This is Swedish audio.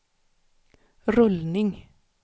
rullning